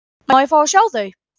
Má ég fá að sjá þau?